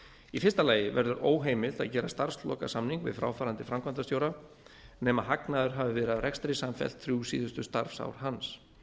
í fyrsta lagi verður óheimilt að gera starfslokasamning við fráfarandi framkvæmdastjóra nema hagnaður hafi verið af rekstri samfellt þrjú síðustu starfsár hans